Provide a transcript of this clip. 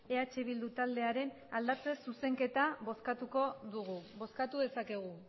eh bildu taldearen aldatze zuzenketa bozkatuko dugu bozkatu dezakegu